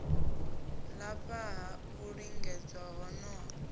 lafha ha u lingedza honoho